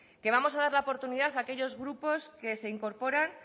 que vamos a dar la oportunidad a aquellos grupos que se incorporan